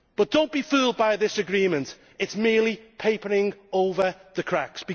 Do not be fooled by this agreement it is merely papering over the cracks.